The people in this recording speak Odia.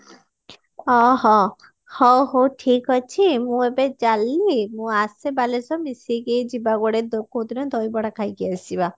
ହଁ ହଁ ହଉ ହଉ ଠିକ ଅଛି ମୁଁ ଏବେ ଚାଲିଲି ମୁଁ ଆସେ ବାଲେଶ୍ଵର ମିଶିକି ଯିବା କୁଆଡେ କୋଉଦିନ ଦହିବଡା ଖାଇକି ଆସିବା